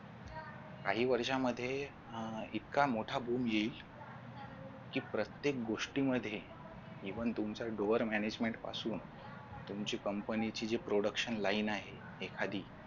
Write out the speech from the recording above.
काही वर्षांमध्ये इतका मोठा boom येईल कि प्रत्येक गोष्टीमध्ये even तुमच्या door management पासून तुमची company ची production line आहे एखादी